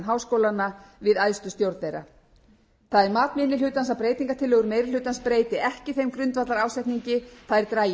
háskólanna við æðstu stjórn þeirra það er mat minni hlutans að breytingartillögur meiri hlutans breyti ekki þeim grundvallarásetningi þær dragi ekki úr